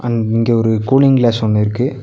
இங்க ஒரு cooling glass ஒன்னு இருக்கு.